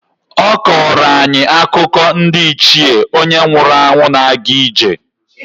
Ọ kọọrọ anyị akụkọ ndị Ichie onye nwụrụ anwụ na-aga ije.